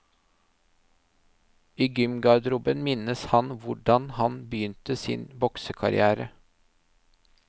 I gymgarderoben minnes han hvordan han begynte sin boksekarriere.